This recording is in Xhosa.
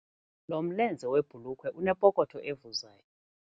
Lo mlenze webhulukhwe unepokotho evuzayo.